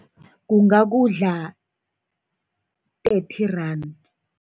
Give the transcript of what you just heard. Kungakudla thirty rand.